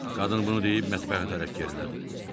Qadın bunu deyib mətbəxə tərəf gerilədi.